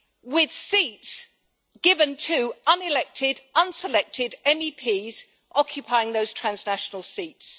with seats given to unelected, unselected MEPs occupying those transnational seats.